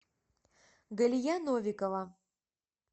галия новикова